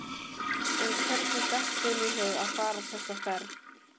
En hvernig datt þeim í hug að fara þessa ferð?